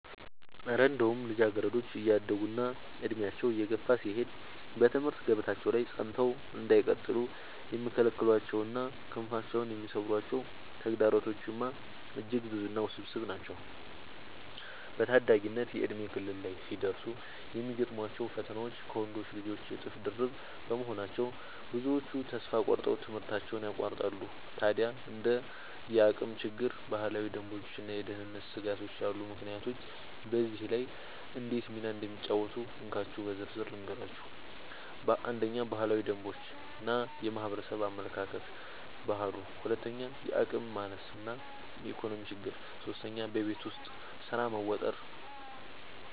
እረ እንደው ልጃገረዶች እያደጉና ዕድሜያቸው እየገፋ ሲሄድ በትምህርት ገበታቸው ላይ ጸንተው እንዳይቀጥሉ የሚከለክሏቸውና ክንፋቸውን የሚሰብሯቸው ተግዳሮቶችማ እጅግ ብዙና ውስብስብ ናቸው! በታዳጊነት የእድሜ ክልል ላይ ሲደርሱ የሚገጥሟቸው ፈተናዎች ከወንዶች ልጆች እጥፍ ድርብ በመሆናቸው፣ ብዙዎቹ ተስፋ ቆርጠው ትምህርታቸውን ያቋርጣሉ። ታዲያ እንደ የአቅም ችግር፣ ባህላዊ ደንቦችና የደህንነት ስጋቶች ያሉ ምክንያቶች በዚህ ላይ እንዴት ሚና እንደሚጫወቱ እንካችሁ በዝርዝር ልንገራችሁ፦ 1. ባህላዊ ደንቦች እና የማህበረሰብ አመለካከት (ባህሉ) 2. የአቅም ማነስ እና የኢኮኖሚ ችግር 3. በቤት ውስጥ ስራ መወጠር መወጠር